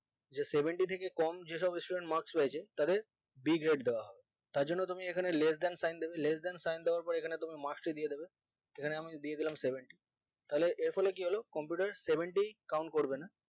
যে seventy থেকে কম যে সব student marks পেয়েছে তাদের b grade দেওয়া হবে তার জন্য তুমি এখানে less than sign হবে less than sign হওয়ার পরে এখানে তুমি marks তো দিয়ে দেবে এখানে আমি দিয়ে দিলাম seventy তাহলে এর ফলে কি হলো computer seventy count করবে না